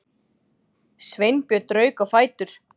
Sveinbjörn rauk á fætur.